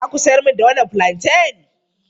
Za ku siyar mani wannan fulanten?